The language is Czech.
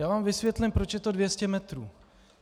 Já vám vysvětlím, proč je to 200 metrů.